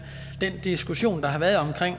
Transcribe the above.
den diskussion der har været omkring